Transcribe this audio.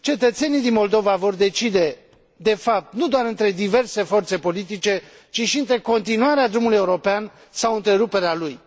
Cetățenii din Moldova vor decide de fapt nu doar între diverse forțe politice ci și între continuarea drumului european sau întreruperea lui.